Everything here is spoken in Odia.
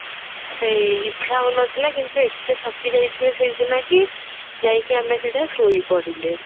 ସେଇ ଇଚ୍ଛା ହଉନଥିଲା କିନ୍ତୁ ଏତେ ଥକି ଯାଇଥିଲୁ ସେଇ ଦିନ କି ଯାଇକି ଆମେ ସିଧା ଶୋଇପଡିଲେ